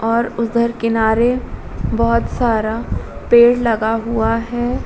और उधर किनारे बोहोत सारा पेड़ लगा हुआ है।